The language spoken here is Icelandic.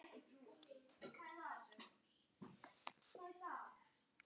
Ég kveð þig vinur minn.